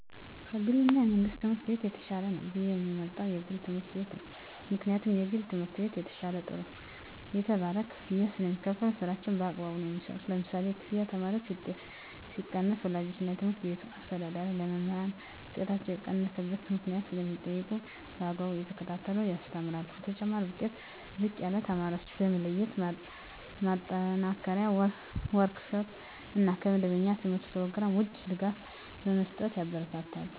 ከ ግል እና የመንግሥት ትምህርት ቤት የተሻለ ነው ብየ የምመርጠው የግል ትምህርት ቤት ነው ምክንያቱም የግል ትምህርት ቤት የተሻለ ጥሩ የተባለ ክፍያ ስለሚካፈሉ ስራቸውን በአግባቡ ነው የሚሠሩ ለምሳሌ ያክል የተማሪዎች ውጤት ሲቀንስ ወላጆች እና የትምህርት ቤቱ አስተዳዳሪ ለመምህራን ውጤታቸው የቀነሰበት ምክንያት ስለሚጠይቁ በአግባቡ እየተከታተሉ ያስተምራሉ በተጨማሪ ዉጤታቸው ዝቅ ያለ ተማሪዎችን በመለየት ማጠናከሪያ ወርክ ሽት እና ከመደበኛ የተምህርት ኘሮግራም ውጭ ድጋፍ በመስጠት ያበረታታሉ።